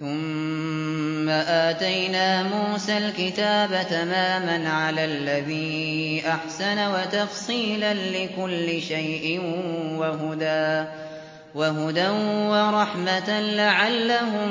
ثُمَّ آتَيْنَا مُوسَى الْكِتَابَ تَمَامًا عَلَى الَّذِي أَحْسَنَ وَتَفْصِيلًا لِّكُلِّ شَيْءٍ وَهُدًى وَرَحْمَةً لَّعَلَّهُم